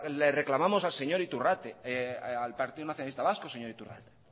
reclamamos al señor iturrate al partido nacionalista vasco señor iturrate